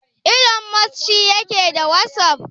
Ilon Mos shi yake da wasaf?